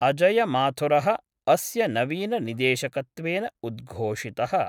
अजयमाथुरः अस्य नवीन निदेशकत्वेन उद्घोषितः।